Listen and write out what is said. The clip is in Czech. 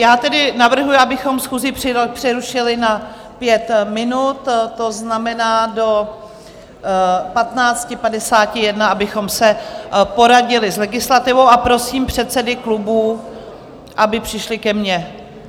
Já tedy navrhuji, abychom schůzi přerušili na pět minut, to znamená do 15.51, abychom se poradili s legislativou, a prosím předsedy klubů, aby přišli ke mně.